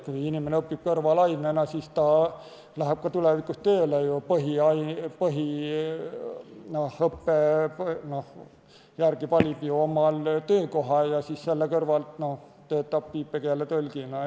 Kui inimene õpib kõrvalainena, siis ta läheb tulevikus tööle ju põhiõppe järgi ja selle kõrvalt töötab viipekeeletõlgina.